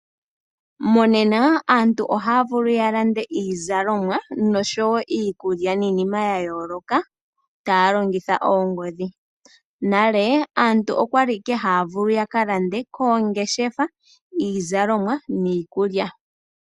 Monena aantu ohaya vulu ya lande iizalomwa oshowo iikulya niinima ya yooloka taya longitha oongodhi, nale aantu okwali ashike haya vulu ya kalande koongeshefa iizalomwa niikulya.